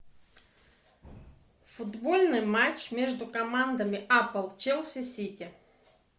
футбольный матч между командами апл челси сити